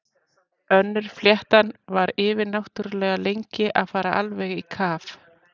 Önnur fléttan var yfirnáttúrlega lengi að fara alveg í kaf.